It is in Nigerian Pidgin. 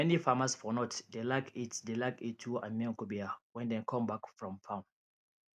many farmers for north dey like eat dey like eat tuwo and miyan kubewa wen dem come back from farm